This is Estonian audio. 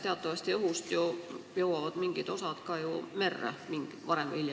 Teatavasti õhust jõuavad mingid osad varem või hiljem ka merre.